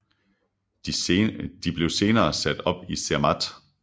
De blev senere sat op i Zermatt